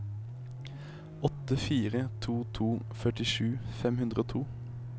åtte fire to to førtisju fem hundre og to